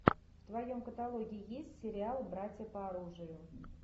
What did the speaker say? в твоем каталоге есть сериал братья по оружию